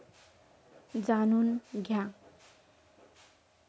जाणून घ्या!